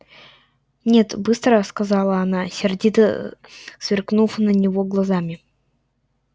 нет быстро сказала она сердито сверкнув на него глазами